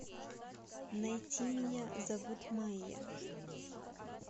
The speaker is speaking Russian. найти меня зовут майя